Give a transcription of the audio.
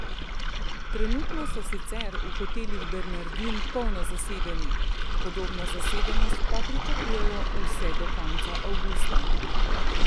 Trenutno so sicer v Hotelih Bernardin polno zasedeni, podobno zasedenost pa pričakujejo vse do konca avgusta.